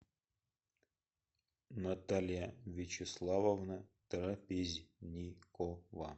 наталья вячеславовна трапезникова